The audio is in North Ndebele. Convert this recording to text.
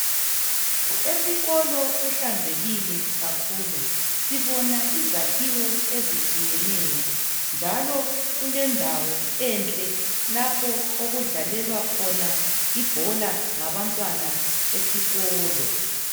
Esikolo kuhlanzekile kakhulu, sibona izakhiwo ezitshiyeneyo njalo kulendawo enhle lapho okudlalelwa khona ibhola ngabantwana besikolo.